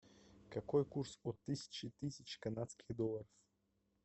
какой курс от тысячи тысяч канадских долларов